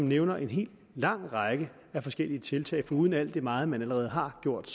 nævnes en hel lang række forskellige tiltag foruden alt det meget man allerede har gjort